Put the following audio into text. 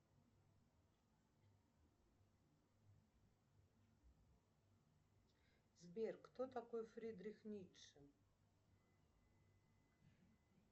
сбер кто такой фридрих ницше